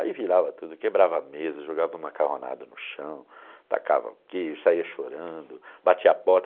Aí virava tudo, quebrava a mesa, jogava um macarronado no chão, tacava o queijo, saia chorando, batia a porta.